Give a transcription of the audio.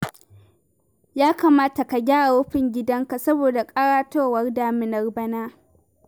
Ya kamata ka gyara rufin gidanka saboda ƙaratowar daminar bana